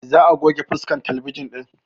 Za a goge faskan talabijin ɗin